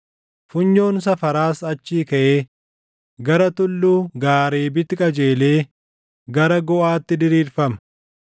Funyoon safaraas achii kaʼee gara tulluu Gaareebitti qajeelee gara Goʼaatti diriirfama.